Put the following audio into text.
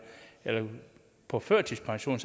eller på førtidspension